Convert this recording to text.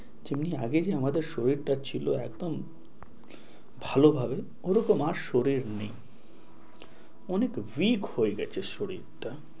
যেমনি আগে যে আমাদের শরীরটা ছিল একদম ভালোভাবে, ওরকম আর শরীর নেই। অনেক weak হয়ে গেছে শরীরটা।